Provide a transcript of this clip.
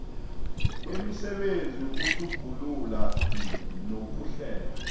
kwemisebenzi yokutjhugulula nokuhlela